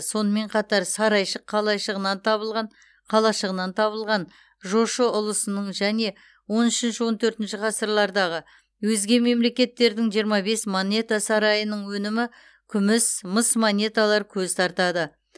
сонымен қатар сарайшық қалайшығынан табылған қалашығынан табылған жошы ұлысының және он үшінші он төртінші ғсырлардағы өзге мемлекеттердің жиырма бес монета сарайының өнімі күміс мыс монеталар көз тартады